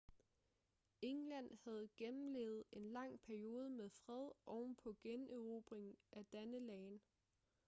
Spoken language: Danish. england havde gennemlevet en lang periode med fred ovenpå generobringen af danelagen